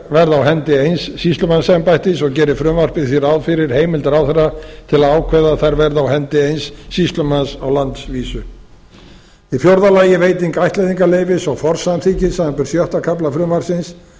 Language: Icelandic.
á hendi eins sýslumannsembættis og gerir frumvarpið því ráð fyrir heimild ráðherra til að ákveða að þær verði á hendi eins sýslumanns á landsvísu í fjórða lagi veiting ættleiðingarleyfis og forsamþykkis samanber sjötta kafla frumvarpsins